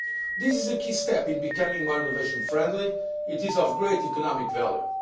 This is a key step in becoming more innovation friendly. It is of great economic value.